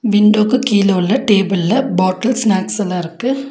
Window க்கு கீழ உள்ள டேபிள் ல பாட்டில் ஸ்நாக்ஸ் லா இருக்கு.